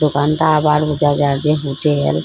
দোকানটা আবার বোঝা যার যে হোটেল ।